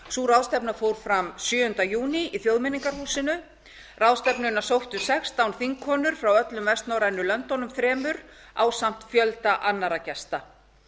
sú ráðstefna fór fram sjöunda júní í þjóðmenningarhúsinu ráðstefnuna sóttu sextán þingkonur frá öllum vestnorrænu löndunum þremur ásamt fjölda annarra gesta